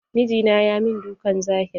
Mijina ya min dukan zahiri.